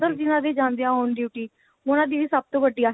ਜਿਹਨਾ ਦੀਆਂਜਾਂਦੀਆਂ on duty ਉਹਨਾ ਦੀ ਵੀ ਸਭ ਤੋਂ ਵੱਡੀ ਆਹੀ